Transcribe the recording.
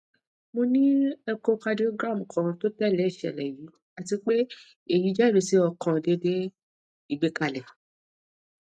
mo ni echocardiogram kan to tẹle iṣẹlẹ yii ati pe eyi jẹrisi ọkan deede igbekale